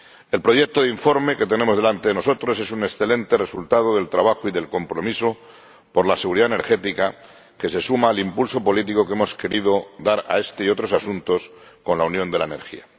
El proyecto de informe que tenemos ante nosotros es un excelente resultado del trabajo y del compromiso por la seguridad energética, que se suma al impulso político que hemos querido dar a este y otros asuntos con la Unión de la Energía.